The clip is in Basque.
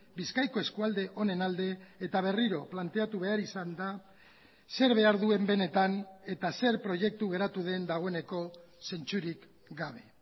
bizkaiko eskualde honen alde eta berriro planteatu behar izan da zer behar duen benetan eta zer proiektu geratu den dagoeneko zentzurik gabe